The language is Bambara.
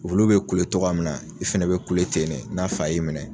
Wulu be kule togoya min na i fɛnɛ be kule ten ne n'a fa y'i minɛ.